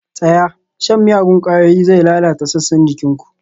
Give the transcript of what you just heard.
Tsaya! shan miyagun ƙwayoyi zai lalata sassan jikin ku